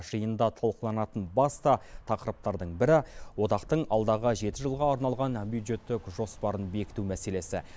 жиында талқыланатын басты тақырыптардың бірі одақтың алдағы жеті жылға арналған бюджеттік жоспарын бекіту мәселесі